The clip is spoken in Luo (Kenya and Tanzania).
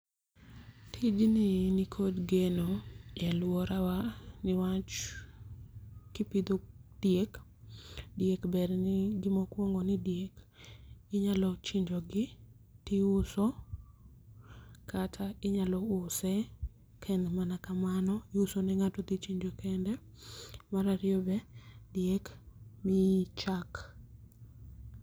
Tijni e nikod geno e aluorawa niwach kipidho diek. Diek ber gi mokwongo ni diek inyalo chinjo gi tiuso kata inyalo use kaen mana kamano iuso ne ng'ato dhi chinjo kende. Mar ariyo be diek miyi chak.